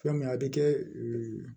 Fɛn mun a bɛ kɛ